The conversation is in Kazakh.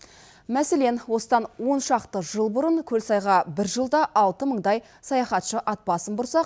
мәселен осыдан он шақты жыл бұрын көлсайға бір жылда алты мыңдай саяхатшы ат басын бұрса